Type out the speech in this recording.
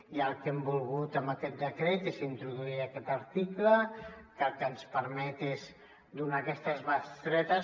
i el que hem volgut amb aquest decret és introduir aquest article que el que ens permet és donar aquestes bestretes